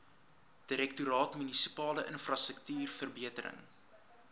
direktoraat munisipale infrastruktuurverbetering